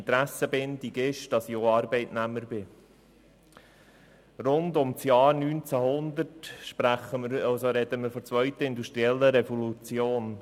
Betreffend die Zeit rund um das Jahr 1900 sprechen wir von der zweiten industriellen Revolution.